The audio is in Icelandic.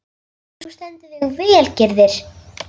Þú stendur þig vel, Gyrðir!